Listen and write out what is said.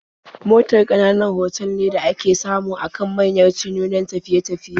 Motal ƙananan otal ne da ake samu a kan manyan titunan tafiye-tafiye.